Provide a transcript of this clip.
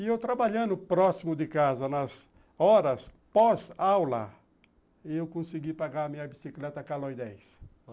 E eu trabalhando próximo de casa, nas horas pós-aula, eu consegui pagar minha bicicleta a Caloi dez.